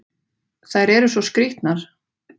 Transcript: Þær eru svo skrýtnar!